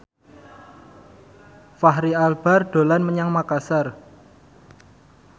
Fachri Albar dolan menyang Makasar